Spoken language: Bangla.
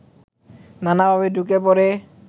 নানা ভাবে ঢুকে পড়ে